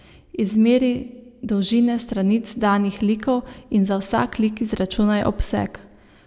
Izmeri dolžine stranic danih likov in za vsak lik izračunaj obseg.